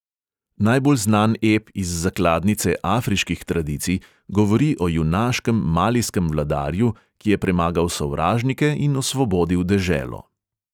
Najbolj znan ep iz zakladnice afriških tradicij govori o junaškem malijskem vladarju, ki je premagal sovražnike in osvobodil deželo.